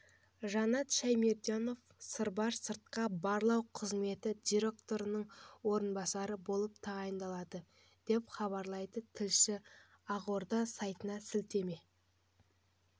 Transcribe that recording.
жанат шәймерденов сырбар сыртқы барлау қызметі директорының орынбасары болып тағайындалды деп хабарлайды тілшісі ақорда сайтына сілтеме